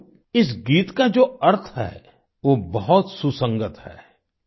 साथियो इस गीत का जो अर्थ है वो बहुत सुसंगत है